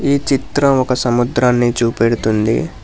ఈ చిత్ర ఒక సముద్రాన్ని చూపెడుతుంది.